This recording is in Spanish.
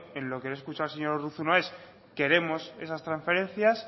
en lo que le he escuchado al señor urruzuno es queremos esas transferencias